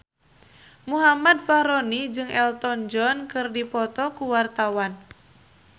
Muhammad Fachroni jeung Elton John keur dipoto ku wartawan